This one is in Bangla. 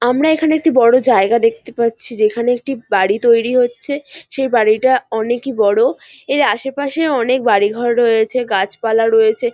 আমরা এখানে একটি বড় জায়গা দেখতে পাচ্ছি যেখানে একটি বাড়ি তৈরি হচ্ছে সেই বাড়িটা অনেকি বড় । এর আশে পাশে অনেক বাড়ি ঘর রয়েছে গাছপালা রয়েছে ।